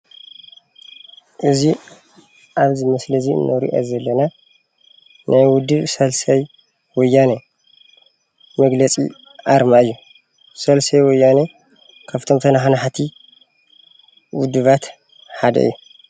እዚ ኣብዚ ምእሊ እዚ እንሪኦ ዘለና ናይ ውድብ ሳልሳይ ወያነ መግለፂ ኣርማ እዩ። ሳልሳይ ወያነ ካብቶም ተናሓናሓቲ ውድባት ሓደ እዩ፡፡